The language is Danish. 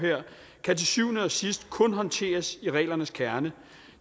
kan til syvende og sidst kun håndteres i reglernes kerne